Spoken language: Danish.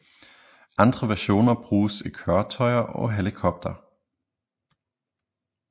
Andre versioner bruges i køretøjer og helikoptere